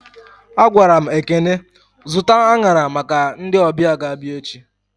A gwaram Ekene zụta anyara maka ndị ọbịa ga abịa echi